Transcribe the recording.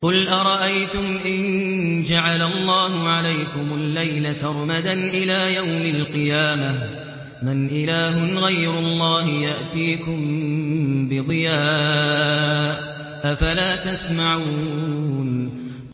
قُلْ أَرَأَيْتُمْ إِن جَعَلَ اللَّهُ عَلَيْكُمُ اللَّيْلَ سَرْمَدًا إِلَىٰ يَوْمِ الْقِيَامَةِ مَنْ إِلَٰهٌ غَيْرُ اللَّهِ يَأْتِيكُم بِضِيَاءٍ ۖ أَفَلَا تَسْمَعُونَ